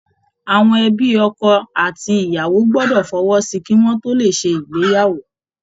Àwọn ẹ̀bi ọkọ àti iyàwó gbọdọ̀ fọwọ́ sí i kí wọ́n tó lè ṣe ìgbéyàwó